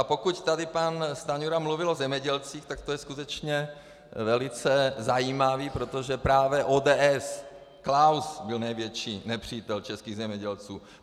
A pokud tady pan Stanjura mluvil o zemědělcích, tak to je skutečně velice zajímavé, protože právě ODS, Klaus byl největší nepřítel českých zemědělců.